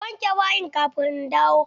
Ka wanke bayin kafin in dawo!